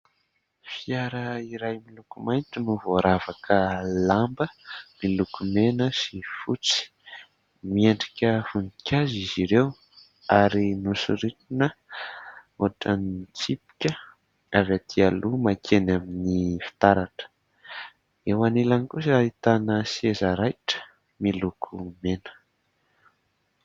Fiara iray miloko mainty no voaravaka lamba miloko mena sy fotsy ; miendrika voninkazo izy ireo ary nosoritana ohatran'ny tsipika avy aty aloha makeny amin'ny fitaratra. Eo anilany kosa, ahitana seza raitra miloko mena.